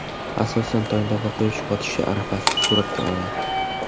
Asosan tongda va quyosh botishi arafasida suratga oladi.